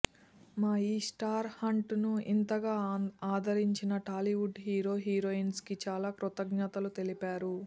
మా ఈ star hunt ను ఇంతగా ఆదరించిన టాలీవుడ్ హీరో హీరోయిన్స్ కి చాలా కృతజ్ఞతలు తెలిపారు